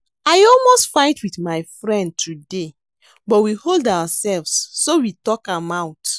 I almost fight with my friend today but we hold ourselves so we talk am out